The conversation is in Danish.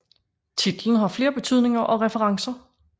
Titlen har flere betydninger og referencer